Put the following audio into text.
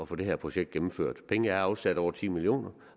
få det her projekt gennemført pengene er afsat over ti million